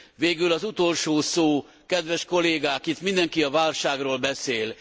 Végül az utolsó szó, kedves kollégák, itt mindenki a válságról beszél.